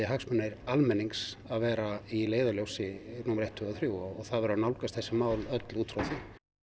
hagsmunir almennings að vera í leiðarljósi númer eitt tvö og þrjú og það verði að nálgast þau mál út frá því